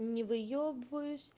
не выёбываюсь